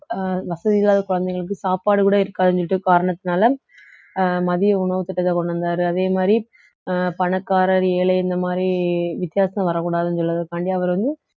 அஹ் வசதி இல்லாத குழந்தைகளுக்கு சாப்பாடு கூட இருக்காதுன்னு சொல்லிட்டு காரணத்துனால அஹ் மதிய உணவு திட்டத்தை கொண்டு வந்தாரு அதே மாதிரி அஹ் பணக்காரர் ஏழை இந்த மாதிரி வித்தியாசம் வரக்கூடாதுன்னு சொல்றதுக்காண்டி அவர் வந்து